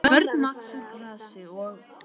Því börn vaxa úr grasi og.